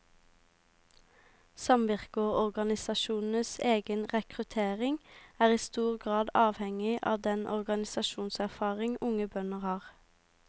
Samvirkeorganisasjonenes egen rekruttering er i stor grad avhengig av den organisasjonserfaring unge bønder har.